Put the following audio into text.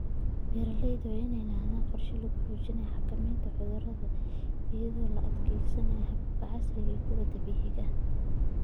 Beeralayda waa inay lahaadaan qorshe lagu xoojinayo xakamaynta cudurrada iyadoo la adeegsanayo hababka casriga ah iyo kuwa dabiiciga ah.